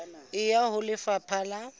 e ya ho lefapha la